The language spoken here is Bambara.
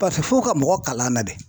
fo ka mɔgɔ kalan na de.